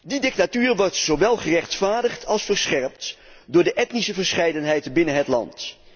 Die dictatuur wordt zowel gerechtvaardigd als verscherpt door de etnische verscheidenheid binnen het land.